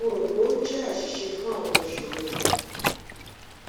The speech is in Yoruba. mo ro pe o jẹ aṣiṣe fun awọn iṣoro mi